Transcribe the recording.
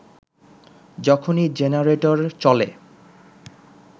যখনই জেনারেটর চলে